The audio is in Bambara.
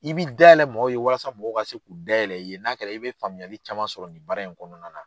I bi dayɛlɛ mɔgɔw ye walasa mɔgɔ ka se k'u dayɛlɛ i ye n'a kɛra i bɛ faamuyali caman sɔrɔ nin baara in kɔnɔna na.